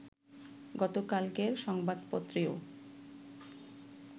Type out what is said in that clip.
গতকালকের সংবাদপত্রেও